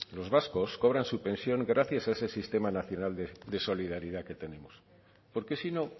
los vascos cobren su pensión gracias a ese sistema nacional de solidaridad que tenemos porque si no